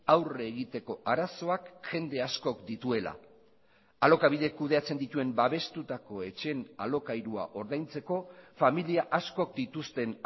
aurre egiteko arazoak jende askok dituela alokabidek kudeatzen dituen babestutako etxeen alokairua ordaintzeko familia askok dituzten